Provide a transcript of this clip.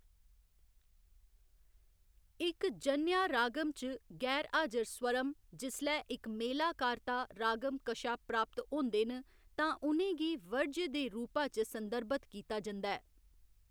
इक जन्या रागम च गैर हाजर स्वरम, जिसलै इक मेलाकार्ता रागम कशा प्राप्त होंदे न, तां उ'नें गी वर्ज्य दे रूपा च संदर्भत कीता जंदा ऐ।